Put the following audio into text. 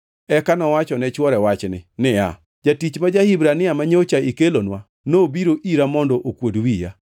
Eka nowacho ne chwore wachni niya, “Jatich ma ja-Hibrania manyocha ikelonwa nobiro ira mondo okuod wiya.